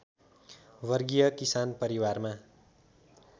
वर्गीय किसान परिवारमा